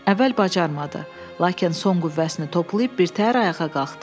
Əvvəl bacarmadı, lakin son qüvvəsini toplayıb birtəhər ayağa qalxdı.